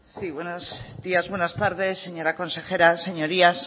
sí buenos días buenas tardes señora consejera señorías